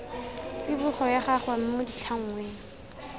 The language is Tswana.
tsibogo ya gagwe mo ditlhangweng